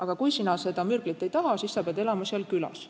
Ja kui ta seda mürglit ei taha, siis ta peab elama külas.